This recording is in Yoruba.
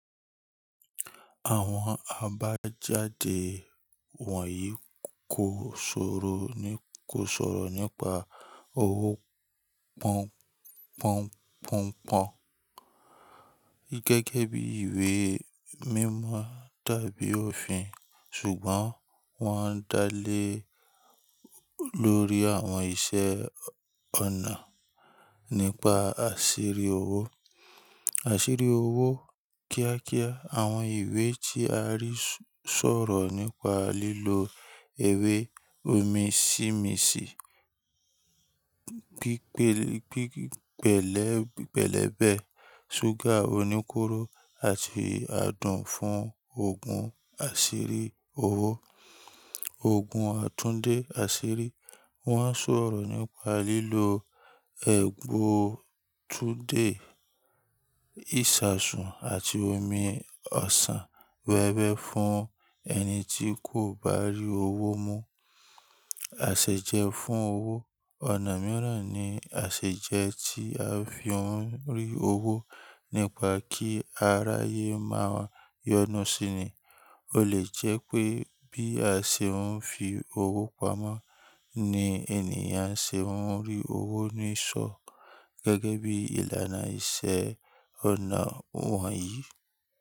Àwọn àbájáde wọ̀nyí kò ṣoro, ko ṣọ̀rọ̀ nípa owó pọn-pọn-pọn-pọn gẹ́gẹ́ bí ìwé mímọ tàbí òfin ṣùgbọ́n wọ́n ń dá lé lórí àwọn ìṣe ọ̀nà nípa àṣírí owó. Àṣírí owó kíákíá àwọn ìwé tí a rí sọ̀rọ̀ nípa lílo ewé omi-sími-sí, gbẹlẹb, gbẹlẹ́bẹ̀, ṣúgà oníkóró àti adùn fún òògùn àṣírí owó. Òògùn àtúndé àṣírí wọ́n ń sọ̀rọ̀ nípa lílo ẹbu túudé, ìṣasùn àti omi ọsàn wẹ́wẹ́ fún ẹni tí kò bá rí owó mú. Àṣejẹ fún owó ọ̀nà mìíràn ni àṣejẹ tí a fi ń rí owó nípa kí aráyé máa yọnu síni. Ó lè jẹ́ pé bí a ṣe ń fi owó pamọ́ ni ènìyàn ṣe ń rí owó ní ìsọ̀ gẹ́gẹ́ bí ìlànà ìṣe ọ̀nà wọ̀nyí.